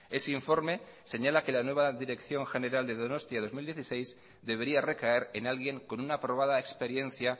ese informe señala que la nueva dirección general de donostia dos mil dieciséis debería recaer en alguien con una aprobada experiencia